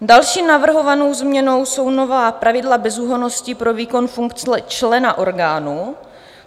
Další navrhovanou změnou jsou nová pravidla bezúhonnosti pro výkon funkce člena orgánu.